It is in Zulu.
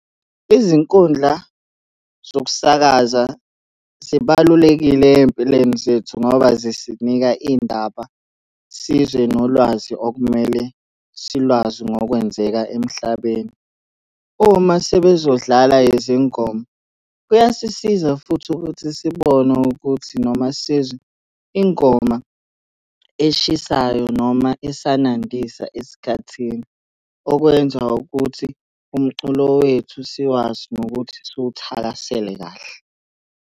Izinkundla zokusakaza zibalulekile ey'mpilweni zethu ngoba zisinika iy'ndaba sizwe nolwazi okumele silwazi ngokwenzeka emhlabeni. Uma sebezodlala izingoma, kuyasisiza futhi ukuthi sibone ukuthi noma sizwe ingoma eshisayo noma esanandisa esikhathini. Okwenza ukuthi umculo wethu siwazi nokuthi siwuthakasele kahle.